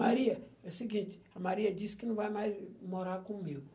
Maria, é o seguinte, a Maria disse que não vai mais morar comigo.